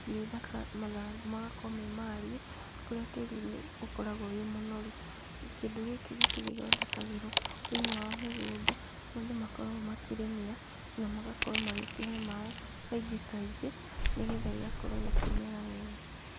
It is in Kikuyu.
cirĩ thaka, mathangũ magakorwo me mariĩ kũrĩa tĩri ũkoragwo wĩ mũnoru, kĩndũ gĩkĩ gwitũ gĩthondekagĩrwo thĩiniĩ wa mĩgũnda kũrĩa andũ makoragwo makĩrĩmĩra, na magakorwo magĩkĩhe maaĩ , kaingĩ kaingĩ , nĩgetha gĩgakorwo gĩkĩmera wega,